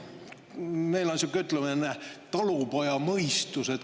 Meil on sihuke ütlemine "talupojamõistus".